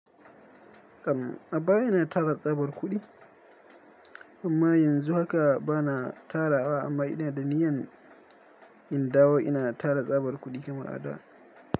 Kam, a baya ina tara tsabar kuɗi amma yanzu haka bana tara wa amma ina da niyan in dawo ina tara tsabar kuɗi kamar a da.